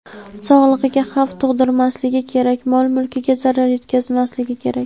sog‘lig‘iga xavf tug‘dirmasligi va mol-mulkiga zarar yetkazmasligi kerak.